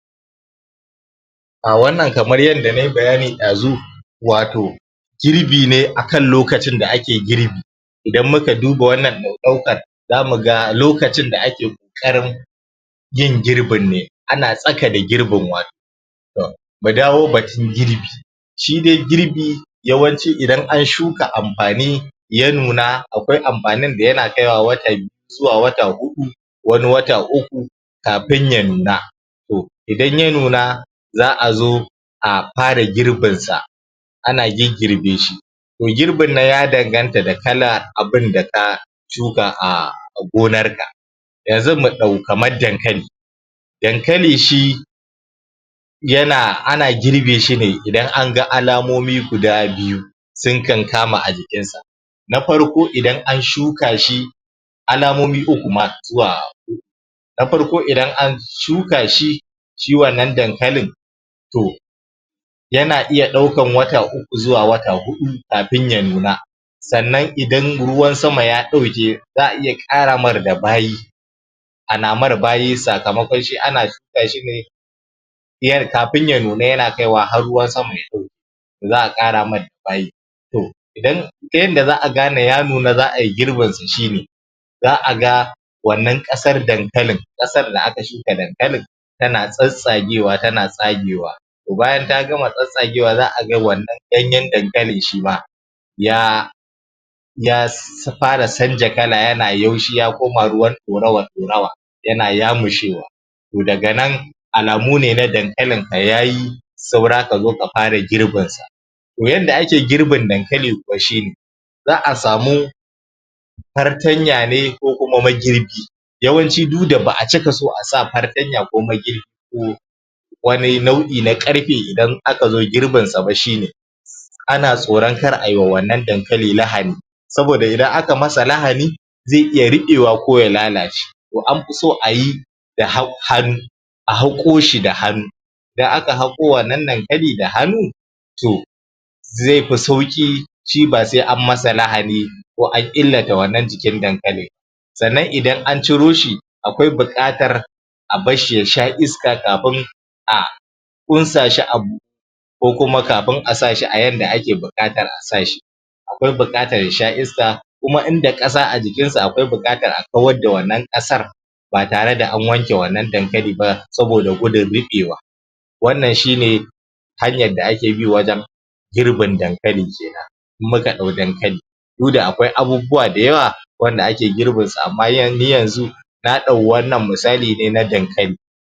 A wannan kamar yadda nai bayani ɗazu, wato girbi ne akan lokacin da ake girbi. Idan muka duba wannan ɗaukar zamuga lokacin da ake ƙoƙarin yin girbin ne, ana tsaka da yin girbin, To mu dawo batun girbi, shi dain girbi, yawanci idan an shuka amfani, ya nuna, akwai amfanin da yana kaiwa wata biyu zuwa wata huɗu wani wata uku, kafin ya nuna, to, idan ya nuna za'a zo a fara girbinsa ana giggirbe shi to girbin nan, ya danganta da kala abunda ka shuka a gonarka yanzu mu ɗau kamar dankali, dankali shi ana girbe shine idan aga alamomi guda biyu sun kan kama a jikinsa. NA farko idan an shuka shi alamomi uku ma zuwa huɗu, na farko idan an shuka shi, shi wannan dankalin to, yana iya ɗaukan wata uku zuwa wata huɗu kafin ya nuna. Sannan idan ruwan sama ya ɗauke za'a iya ƙaramar da bayi, ana mai bayi, sakamakon shi ana shuka shi ne, kafin ya nuna yana kaiwa har ruwan sama ya ɗauke. Za'a karamar da bayi, to idan ta yadda za'a gane ya nuna a yi girbin sa shine za'a ga wannan ƙasar da aka shuka dankalin tana tsattsagewa tana tsagewa, to bayan ta gama tsattsagewa za'a ga to wannan ganyen danklin shima ya ya fara canja kala yana yaushi ya koma ruwan ɗorawa-ɗorawa, yana ya mushewa to daga nan, na dankalinka yayi, saura ka zo ka fara girbinsa. To yadda ake girbin dankali kuwa shine za'a samu fartanya ne ko kuma magirbi, yawanci duk da ba'a cika son a sa fartanya ko magirbi ko wani nau'i na ƙarfe idan aka zo girbinsa ba shine ana tsoron kar ayiwa wannan dankali lahani, saboda idan aka masa lahani, zai iya riɓewa ko ya lalace. To an fi so ayi da hannu a haƙo shi da hannu, idan aka haƙo wannan dankali da hannu to, zai fi sauƙi, shi ba sai an masa lahani ko an illata wannan jikin dankali ba. Sannan idan an ciro shi, akwai buƙatar a barshi ya sha iska kafin a ƙunsa shi a ko kuma kafin a sa shi a yadda ake buƙatar a sa shi. akwai buƙatar ya sha iska, kuma inda ƙasa a jikin sa akwai buƙatar a kawar da wannan ƙasar ba tare da an wanke wannan dankali ba, saboda gudun ruɓewa. Wannan shine, hanyar da ke bi wajen girbin dankali kenan, in muka ɗau dankali. Duk da akwai abubuwa da yawa wanda ake girbinsu, amma ni yanzu na ɗau wannan misali ne na dankali.